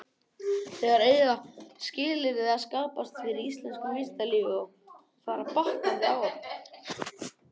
Þar eiga skilyrði að skapast fyrir íslensku vísindalífi, og fara batnandi ár frá ári.